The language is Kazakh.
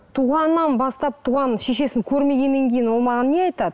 туғаннан бастап туған шешесін көрмегеннен кейін ол маған не айтады